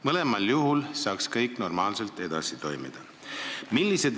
Mõlemal juhul saaks kõik normaalselt edasi toimida.